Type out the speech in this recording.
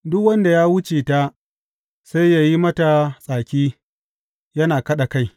Duk wanda ya wuce ta sai ya yi mata tsaki yana kaɗa kai.